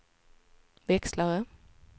växlare